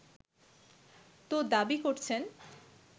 তো দাবি করছেন